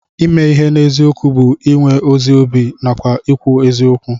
Ime ihe n'eziokwu bụ iwe ezi obi nàkwà ikwu eziokwu